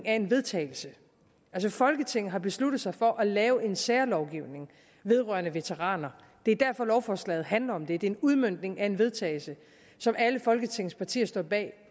af en vedtagelse altså folketinget har besluttet sig for at lave en særlovgivning vedrørende veteraner det er derfor lovforslaget handler om det det er en udmøntning af en vedtagelse som alle folketingets partier står bag